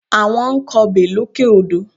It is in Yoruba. Àwọn ń kọbè lókè odò